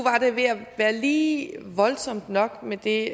var ved at være lige voldsomt nok med det